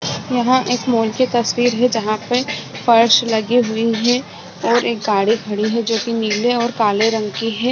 यहाँ पर मॉल की तस्वीर है जहां फर्श लगी हुई हैं और गाड़ी खड़ी है जो नील काले रंग की है।